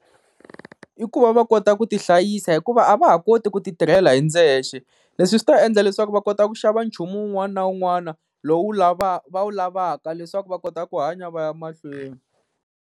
I ku va va kota ku ti hlayisa hikuva a va ha koti ku ti tirhela hi ndzexe, leswi swi ta endla leswaku va kota ku xava nchumu wun'wana na wun'wana lowu lavaka va wu lavaka leswaku va kota ku hanya va ya mahlweni.